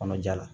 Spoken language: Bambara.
Kɔnɔja la